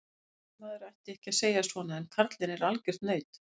Jesús, maður ætti ekki að segja svona en karlinn er algjört naut.